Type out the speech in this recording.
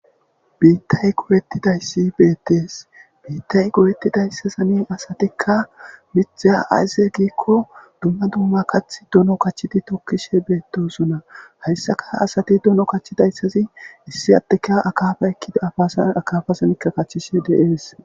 Biittay goyettidayssi beettees biittay goyettidayssa sami asatikka mitheya ayze giikko dumma dumma kath dono kachidi tokkishe beettosona hayssaka asati dono kachidayssazi issi addeka akaafa ekkida afasan akafasamika kachchishe deees.